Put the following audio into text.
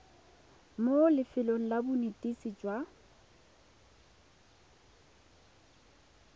mo lefelong la bonetetshi jwa